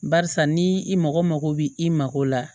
Barisa ni i mago mako bi i mako la